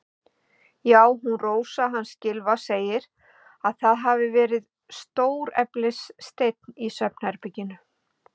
Já, hún Rósa hans Gylfa segir að það hafi verið stóreflis steinn í svefnherberginu.